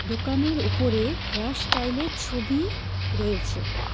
দোকানের ওপরে হেয়ার স্টাইলের ছবি রয়েছে।